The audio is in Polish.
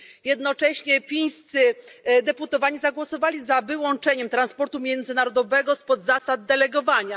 Jednocześnie fińscy posłowie zagłosowali za wyłączeniem transportu międzynarodowego spod zasad delegowania.